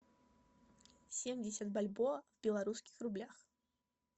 семьдесят бальбоа в белорусских рублях